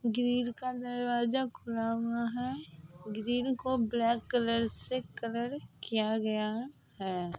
Grill का दरवाजा खुला हुआ है| ग्रिल को ब्लैक कलर से कलर किया गया है।